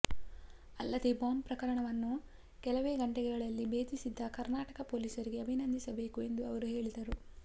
ಅಲ್ಲದೆ ಬಾಂಬ್ ಪ್ರಕರಣವನ್ನು ಕೆಲವೇ ಗಂಟೆಗಳಲ್ಲಿ ಬೇಧಿಸಿದ್ದ ಕರ್ನಾಟಕ ಪೋಲೀಸರಿಗೆ ಅಭಿನಂದಿಸಬೇಕು ಎಂದು ಅವರು ಹೇಳಿದರು